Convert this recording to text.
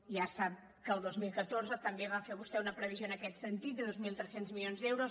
ja sap que el dos mil catorze també va fer vostè una previsió en aquest sentit de dos mil tres cents milions d’euros